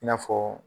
I n'a fɔ